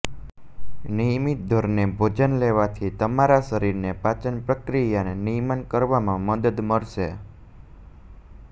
નિયમિત ધોરણે ભોજન લેવાથી તમારા શરીરને પાચન પ્રક્રિયાને નિયમન કરવામાં મદદ મળશે